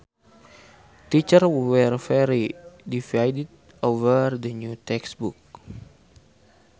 Teachers were very divided over the new textbooks